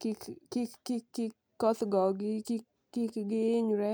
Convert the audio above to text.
kik kik kik kik koth gogi kik kik gihinyre .